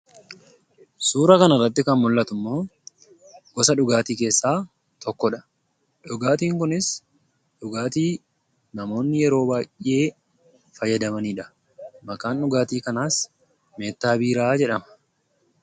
Suuraa kana irratti kan mul'atu immoo, gosa dhugaatii keessaa tokkodha. Dhugaatiin kunis dhugaatii namoonni yeroo baay'ee fayyadamaniidha. Maqaan dhugaatii kanaas "meettaa biiraa" jedhama.